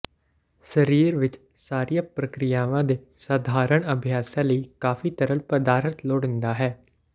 ਸਰੀਰ ਵਿੱਚ ਸਾਰੀਆਂ ਪ੍ਰਕਿਰਿਆਵਾਂ ਦੇ ਸਧਾਰਣ ਅਭਿਆਸਾਂ ਲਈ ਕਾਫੀ ਤਰਲ ਪਦਾਰਥ ਲੋੜੀਂਦਾ ਹੈ